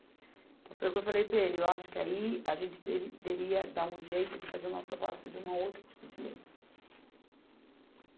Então, foi o que eu falei para ele, eu acho que aí a gente deveria dar um jeito de fazer uma proposta de uma outro tipo de lei.